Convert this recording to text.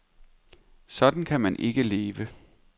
Sådan kan man ikke leve.